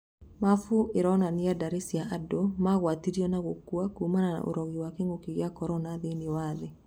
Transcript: Maabu ĩronania ndari cia andũ magwatĩrio na gũkua kumana na ũrogi wa kĩng'ũki gĩa korona thĩiniĩ wa thĩ.